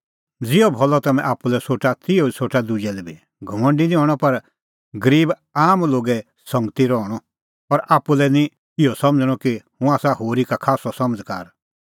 ज़िहअ भलअ तम्हैं आप्पू लै सोठा तिहअ सोठणअ दुजै लै बी घमंडी निं हणअ पर गरीब आम लोगे संगती दी रहणअ और आप्पू लै निं इहअ समझ़णअ कि हुंह आसा होरी का खास्सअ समझ़कार